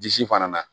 Disi fana na